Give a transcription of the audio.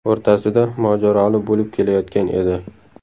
o‘rtasida mojaroli bo‘lib kelayotgan edi.